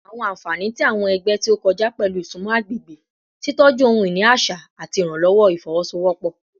Awọn anfani ti awọn ẹgbẹ ti o kọja pẹlu isunmọ agbegbe, titọju ohun-ini aṣa, ati iranlọwọ ifowosowopo